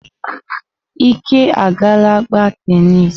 Ike agaala gbaa tenis.